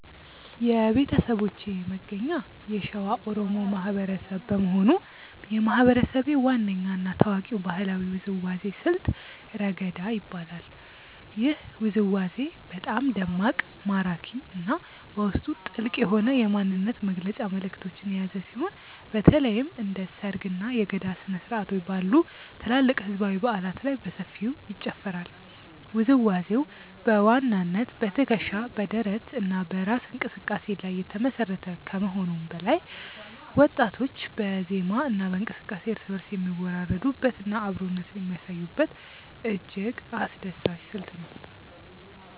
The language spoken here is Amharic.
የቤተሰቦቼ መገኛ የሸዋ ኦሮሞ ማህበረሰብ በመሆኑ፣ የማህበረሰቤ ዋነኛ እና ታዋቂው ባህላዊ ውዝዋዜ ስልት "ረገዳ" ይባላል። ይህ ውዝዋዜ በጣም ደማቅ፣ ማራኪ እና በውስጡ ጥልቅ የሆነ የማንነት መግለጫ መልዕክቶችን የያዘ ሲሆን፣ በተለይም እንደ ሰርግ፣ እና የገዳ ስነ-ስርዓቶች ባሉ ትላልቅ ህዝባዊ በዓላት ላይ በሰፊው ይጨፈራል። ውዝዋዜው በዋናነት በትከሻ፣ በደረት እና በእራስ እንቅስቃሴ ላይ የተመሰረተ ከመሆኑም በላይ፣ ወጣቶች በዜማ እና በእንቅስቃሴ እርስ በእርስ የሚወራረዱበት እና አብሮነትን የሚያሳዩበት እጅግ አስደሳች ስልት ነው።